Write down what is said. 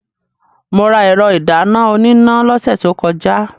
Mo ra ẹ̀rọ ìdáná oníná lọ́sẹ̀ tó kọjá.